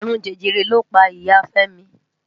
Arún Jẹjẹrẹ ló pá Ìyá Femi.